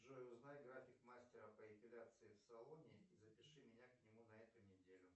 джой узнай график мастера по эпиляции в салоне и запиши меня к нему на эту неделю